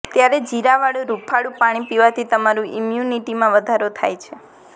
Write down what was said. ત્યારે જીરાવાળું હુંફાળું પાણી પીવાથી તમારી ઈમ્યુનિટીમાં વધારો થાય છે